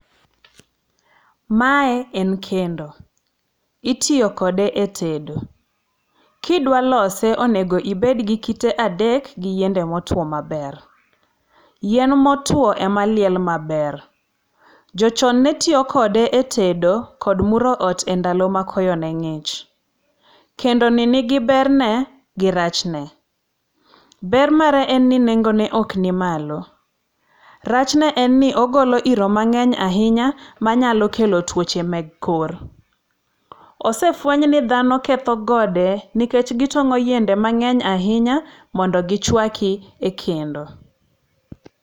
Mae en kendo. Itiyo kode e tedo. Kidwalose onego ibed gi kite adek gi yiende motuwo maber. Yien motuwo ema liel maber. Jochon ne tiyo kode e tedo kod muro ot e ndalo ma koyo ne ng'ich. Kendoni nigi berne gi rachne. Ber mare en ni nengone ok ni malo. Rachne en ni ogolo iro mang'eny ahinya manyalo kelo tuoche mek kor. Osefweny ni dhano ketho gode nikech gitong'o yiende mang'eny ahinya mondo gichwaki e kendo.